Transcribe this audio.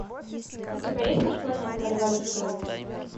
у тебя есть межпланетная революция